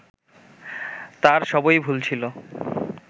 তার সবই ভুল ছিল